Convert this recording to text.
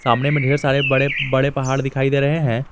सामने में ढेर सारे बड़े बड़े पहाड़ दिखाई दे रहे हैं।